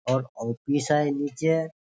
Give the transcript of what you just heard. और ऑफिस है नीचे है |